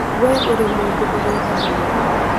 Wee wĩ mũndũ ũrĩ tha mũno.